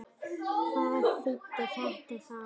Hvað þýddi þetta þá?